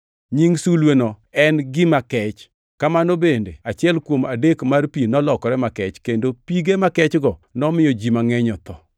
Nying sulweno en, “Gima Kech,” kamano bende achiel kuom adek mar pi nolokore makech, kendo pige makechgo nomiyo ji mangʼeny otho.